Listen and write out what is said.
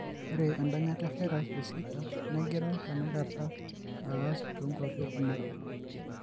Ore endanyata evirus eZika negira tenakata aasa toonkuapi kumok.